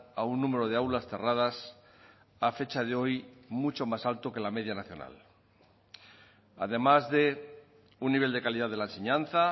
a un número de aulas cerradas a fecha de hoy muy mucho más alto que la media nacional además de un nivel de calidad de la enseñanza